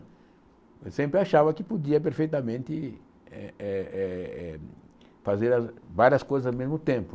Eu sempre achava que podia perfeitamente eh eh eh fazer as várias coisas ao mesmo tempo.